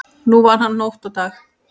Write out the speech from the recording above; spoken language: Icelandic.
Nú vann hann nótt og dag.